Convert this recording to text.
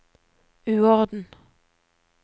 uorden